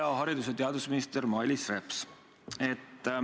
Hea haridus- ja teadusminister Mailis Reps!